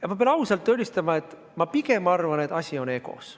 Aga pean ausalt tunnistama, et ma pigem arvan, et asi on egos.